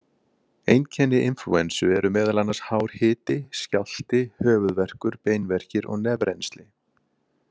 Einkenni inflúensu eru meðal annars hár hiti, skjálfti, höfuðverkur, beinverkir og nefrennsli.